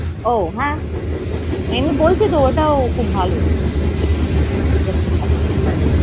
ও হ্যাঁ, এমনি বলছি তো ওটাও খুব ভালো। ব্যাপার স্যাপার